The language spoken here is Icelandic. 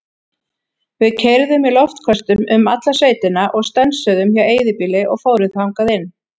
Við keyrðum í loftköstum um alla sveitina og stönsuðum hjá eyðibýli og fórum þangað inn.